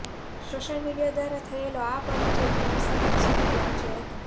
social media દ્વારા થયેલો આ પરિચય પ્રેમસબંધ સુધી પહોચ્યો હતો